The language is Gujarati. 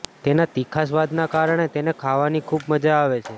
તેના તીખા સ્વાદના કારણે તેને ખાવાની ખુબ મજા આવે છે